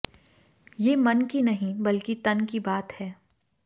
ये मन की नहीं बल्कि तन की बात है